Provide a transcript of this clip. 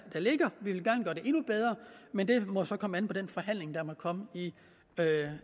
endnu bedre men det må så komme an på den forhandling der må komme i